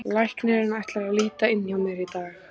Læknirinn ætlar að líta inn hjá mér í dag.